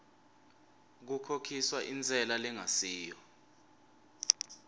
kukhokhiswa intsela lengasiyo